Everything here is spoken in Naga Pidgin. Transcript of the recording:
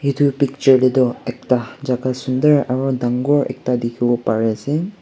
Etu picture tey toh ekta jaka sundor aro dangor ekta dekhibo pari ase.